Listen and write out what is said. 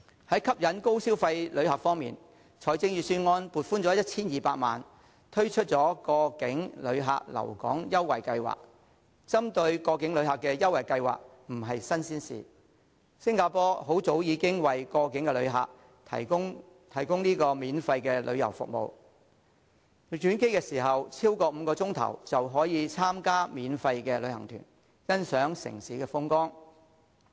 在吸引高消費旅客方面，預算案撥款 1,200 萬元推出過境旅客留港優惠計劃，針對過境旅客的優惠計劃不是新鮮事，新加坡很早已經為過境旅客提供免費旅遊服務，只要轉機時間超過5小時，便可以參加免費旅行團，欣賞城市風光。